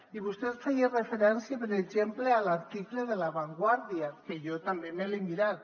i vostè feia referència per exemple a l’article de la vanguardia que jo també me l’he mirat